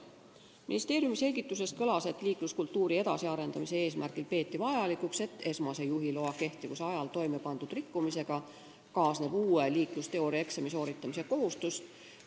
Ministeeriumi selgituses kõlas, et liikluskultuuri huvides peetakse vajalikuks, et esmase juhiloa kehtivuse ajal toimepandud rikkumisega kaasneb uue liiklusteooriaeksami sooritamise kohustus.